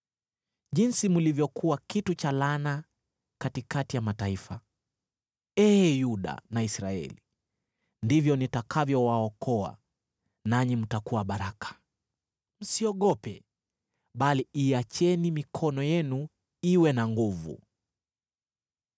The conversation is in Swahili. Jinsi mlivyokuwa kitu cha laana katikati ya mataifa, ee Yuda na Israeli, ndivyo nitakavyowaokoa, nanyi mtakuwa baraka. Msiogope, bali iacheni mikono yenu iwe na nguvu.”